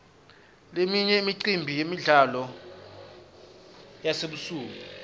leminye imicimbi yemidlalo yasebusuku